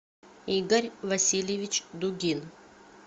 игорь васильевич дугин